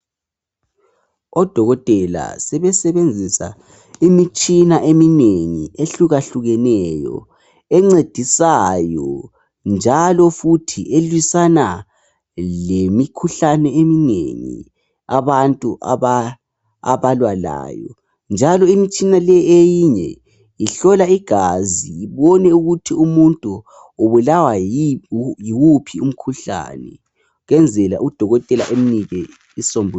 Odokotela sebesebenzisa imitshina eminengi uhlukahlukeneyo, encedisayo, njalo futhi elisana lemikhuhlane eminengi abantu abalwa layo. Njalo imitshina leyi eyinye ihlola igazi ibone ukuthi umuntu ubulawa yiwuphi umkhuhlane. Kwenzela udokotela amnike isisombululo.